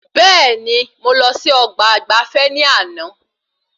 Bẹẹni, mo lọ sí ọgbà ìgbafé ní àna